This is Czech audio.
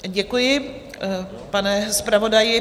Děkuji, pane zpravodaji.